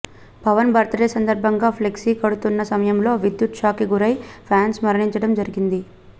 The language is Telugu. పవన్ బర్త్ డే సంధర్భంగా ఫ్లెక్సీ కడుతున్న సమయంలో విద్యుత్ షాక్ కి గురై ఫ్యాన్స్ మరణించడం జరిగింది